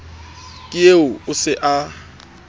ke eo o se a